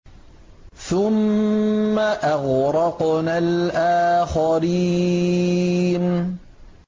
ثُمَّ أَغْرَقْنَا الْآخَرِينَ